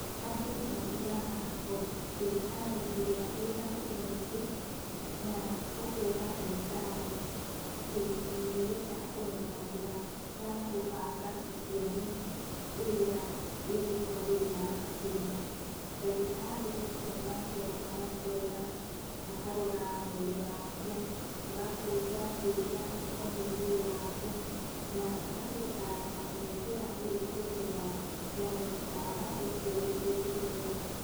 Andũ mathiaga o thibitarĩ ĩrĩa ĩrĩ hakuhĩ na ithuĩ, na ũkera ndagĩtarĩ atĩ nĩũrenda kũmenya njĩra ya gũbanga ũciari ĩrĩa ĩngĩkwagĩrĩra makĩria. Ndagĩtarĩ ũcio nake agakũrora, akarora mwĩrĩ waku, agakũria ciũria cikoniĩ mwĩrĩ waku, na agagũtara nĩ njĩra ĩrĩkũ njega ya gũbanga ũciari ũngĩtũmĩra.